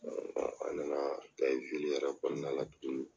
an nana kɛ yɛrɛ kɔnɔna la tuguni